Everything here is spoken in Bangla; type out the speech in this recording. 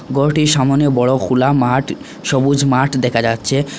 ঘরটির সামোনে বড় খুলা মাঠ সবুজ মাঠ দেখা যাচ্ছে।